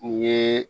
U ye